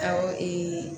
Awɔ